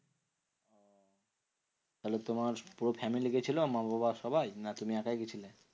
তাহলে তোমার পুরো family গেছিলো মা বাবা সবাই? না তুমি একাই গেছিলে?